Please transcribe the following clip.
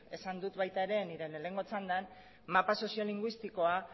esan dut nire lehenengo txandan mapa soziolinguistikoa